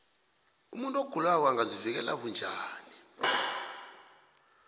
umuntu ogulako angazivikela bunjani